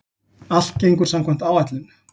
Allt gengur samkvæmt áætlun